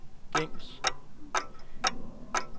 gængs